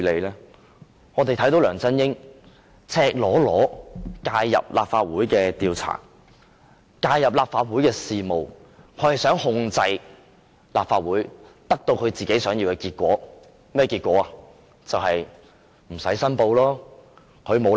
原因是梁振英赤裸裸地介入立法會的調查，介入立法會的事務，他想控制立法會，以獲得自己想要的結果。